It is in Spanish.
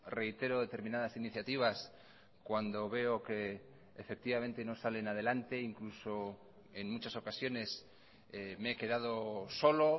reitero determinadas iniciativas cuando veo que efectivamente no salen adelante incluso en muchas ocasiones me he quedado solo